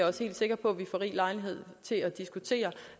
også helt sikker på vi får rig lejlighed til at diskutere